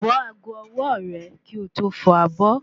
Bọ́ ago ọwọ́ọ̀rẹ̀ kí o tó fọ abọ́